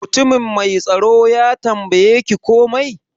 Mutumin mai tsaro ya tambaye ki komai?